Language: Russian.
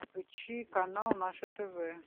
включи канал наше тв